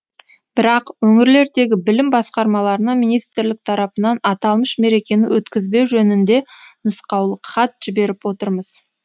бірақ өңірлердегі білім басқармаларына министрлік тарапынан аталмыш мерекені өткізбеу жөнінде нұсқаулық хат жіберіп отырмыз